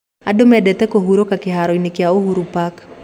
Andu mendete kũhuurũka kĩhaaro-inĩ kĩa Uhuru Park